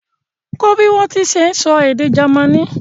Kọ́ bí wọ́n ṣe ń sọ èdè Jamaní!